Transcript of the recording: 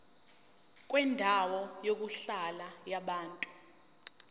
kwendawo yokuhlala yabantu